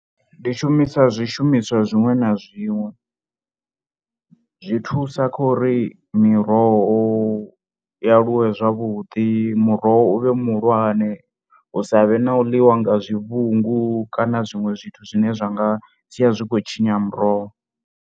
Ndi shumisa zwishumiswa zwiṅwe na zwiṅwe zwi thusa kha uri miroho i aluwe zwavhuḓi, muroho u vhe muhulwane hu sa vhe na u ḽiwa nga zwivhungu kana zwiṅwe zwithu zwine zwa nga sia zwi khou tshinya muroho.